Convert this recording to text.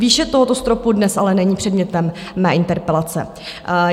Výše tohoto stropu dnes ale není předmětem mé interpelace.